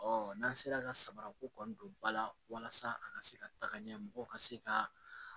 n'an sera ka samara ko kɔni don ba la walasa a ka se ka taga ɲɛmɔgɔw ka se ka